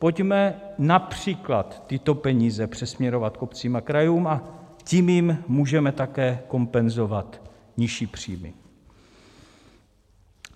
Pojďme například tyto peníze přesměrovat k obcím a krajům, a tím jim můžeme také kompenzovat nižší příjmy.